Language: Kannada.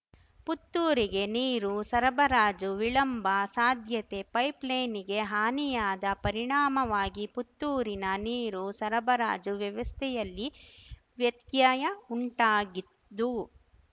ಪುತ್ತೂರಿಗೆ ನೀರು ಸರಬರಾಜು ವಿಳಂಬ ಸಾಧ್ಯತೆ ಪೈಪ್‌ಲೈನಿಗೆ ಹಾನಿಯಾದ ಪರಿಣಾಮವಾಗಿ ಪುತ್ತೂರಿನ ನೀರು ಸರಬರಾಜು ವ್ಯವಸ್ಥೆಯಲ್ಲಿ ವ್ಯತ್ಯಯ ಉಂಟಾಗಿದ್ದು